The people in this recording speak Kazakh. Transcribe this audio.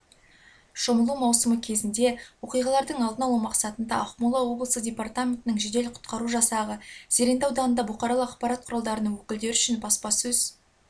шомылу маусымы кезінде оқыс оқиғалардың алдын алу мақсатында ақмола облысы департаментінің жедел-құтқару жасағы зеренді ауданында бұқаралық ақпарат құралдарының өкілдері үшін баспасөз